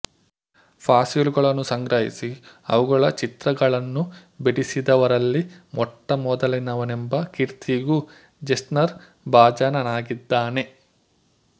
ಫಾಸಿಲುಗಳನ್ನು ಸಂಗ್ರಹಿಸಿ ಅವುಗಳ ಚಿತ್ರಗಳನ್ನು ಬಿಡಿಸಿದವರಲ್ಲಿ ಮೊಟ್ಟಮೊದಲಿನವನೆಂಬ ಕೀರ್ತಿಗೂ ಜೆಸ್ನರ್ ಭಾಜನನಾಗಿದ್ದಾನೆ